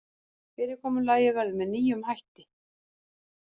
Fyrirkomulagið verður með nýjum hætti